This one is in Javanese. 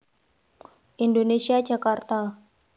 Indonesia Jakarta